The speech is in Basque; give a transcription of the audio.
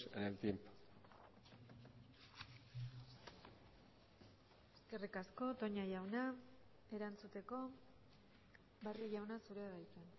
en el tiempo eskerrik asko toña jauna erantzuteko barrio jauna zurea da hitza